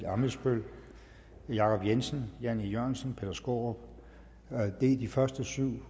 ammitzbøll jacob jensen jan e jørgensen peter skaarup det er de første syv